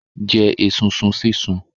Jẹ esunsun sísun.